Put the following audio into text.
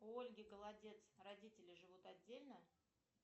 у ольги голодец родители живут отдельно